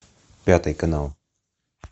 пятый канал